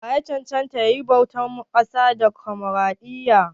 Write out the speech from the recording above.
Wa ye ya cancanta ya yi zaɓen ƙasa a Damokaraɗiyya?